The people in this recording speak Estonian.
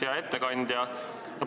Hea ettekandja!